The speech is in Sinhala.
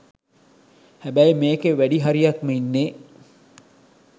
හැබැයි මේකේ වැඩි හරියක්ම ඉන්නේ